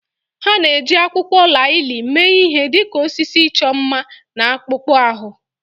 Ha na-eji akwụkwọ laalị mee ihe dị ka osisi ịchọ mma na akpụkpọ ahụ